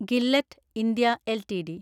Gillette India LTD